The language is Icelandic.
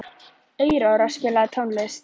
Aurora, spilaðu tónlist.